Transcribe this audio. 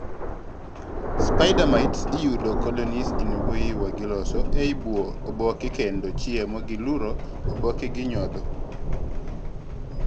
spider mites iyudo colonies ie mbuyi ma giloso ei buo oboke kendo chiemo gi luro oboke gi nyodho